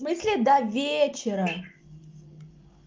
смысле до вечера